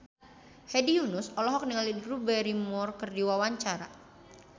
Hedi Yunus olohok ningali Drew Barrymore keur diwawancara